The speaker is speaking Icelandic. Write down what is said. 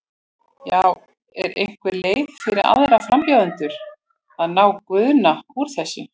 Já, er einhver leið fyrir aðra frambjóðendur að ná Guðna úr þessu?